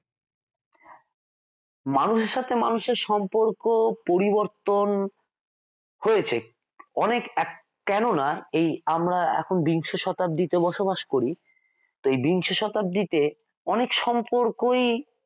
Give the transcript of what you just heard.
মানুষের সাথে মানুষের সম্পর্ক পরিবর্তন হয়েছে অনেক কেননা আমরা এখন বিংশ শতাব্দীতে বসবাস করি তো এই বিংশ শতাব্দীতে অনেক সম্পর্কই